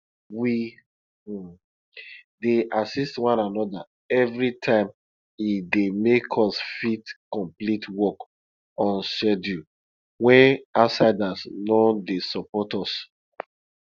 we um dey assist one another every time e dey make us fit complete work on schedule wen outsiders no dey support us